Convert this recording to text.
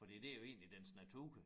Fordi det jo egentlig dens natur